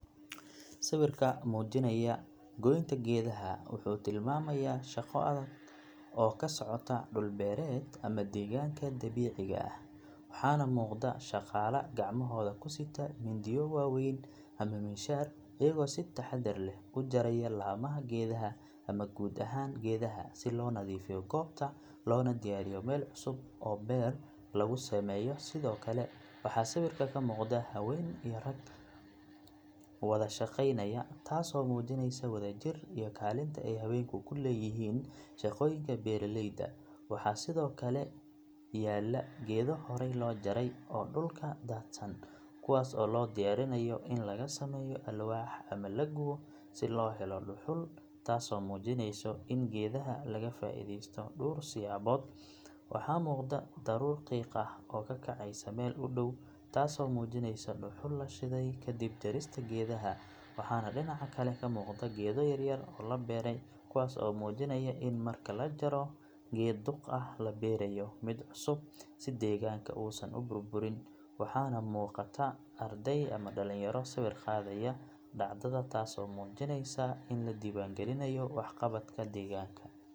Sawirka muujinaya goynta geedaha wuxuu tilmaamayaa shaqo adag oo ka socota dhul beereed ama deegaanka dabiiciga ah waxaana muuqda shaqaale gacmahooda ku sita mindiyo waaweyn ama miinshaar iyagoo si taxaddar leh u jaraya laamaha geedaha ama guud ahaan geedaha si loo nadiifiyo goobta loona diyaariyo meel cusub oo beer lagu sameeyo sidoo kale waxaa sawirka ka muuqda haween iyo rag wada shaqaynaya taasoo muujinaysa wada jir iyo kaalinta ay haweenku ku leeyihiin shaqooyinka beeraleyda waxaa sidoo kale yaala geedo horay loo jaray oo dhulka daadsan kuwaas oo loo diyaarinayo in laga sameeyo alwaax ama la gubo si loo helo dhuxul taasoo muujinaysa in geedaha laga faa’iidaysto dhowr siyaabood waxaa muuqda daruur qiiq ah oo ka kacaysa meel u dhow taasoo muujinaysa dhuxul la shiday kadib jarista geedaha waxaana dhinaca kale ka muuqda geedo yaryar oo la beeray kuwaas oo muujinaya in marka la jaro geed duq ah la beerayo mid cusub si deegaanka uusan u burburin waxaana muuqata arday ama dhalinyaro sawir qaadaya dhacdada taasoo muujinaysa in la diiwaangelinayo waxqabadka deegaanka.